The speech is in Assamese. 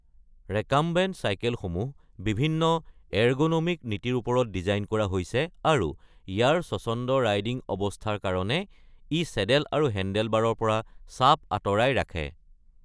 ৰেকাম্বেণ্ট চাইকেলসমূহ বিভিন্ন এৰগ’নমিক নীতিৰ ওপৰত ডিজাইন কৰা হৈছে আৰু ই চেডেল আৰু হেণ্ডেলবাৰৰ পৰা চাপ আঁতৰাই পেলায় কাৰণ ইয়াৰ ৰাইডিং অৱস্থা শিথিল।